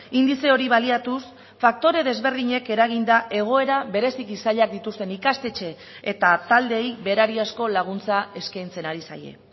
indize hori baliatuz faktore desberdinek eraginda egoera bereziki zailak dituzten ikastetxe eta taldeei berariazko laguntza eskaintzen ari zaie